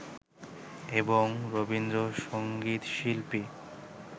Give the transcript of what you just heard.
এবং রবীন্দ্রসংগীত শিল্পী